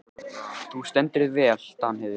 Þú stendur þig vel, Danheiður!